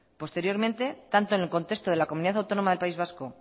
posteriormente tanto en el contexto de la comunidad autónoma del país vasco